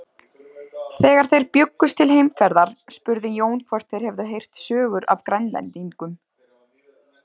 Þegar þeir bjuggust til heimferðar spurði Jón hvort þeir hefðu heyrt sögur af Grænlendingum.